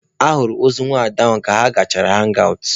A hụrụ ozu nwaada ahụ ka ha gachara hangi awụt.